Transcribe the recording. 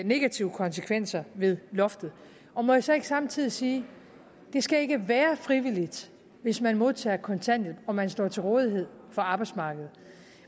negative konsekvenser ved loftet må jeg så ikke samtidig sige det skal ikke være frivilligt hvis man modtager kontanthjælp om man står til rådighed for arbejdsmarkedet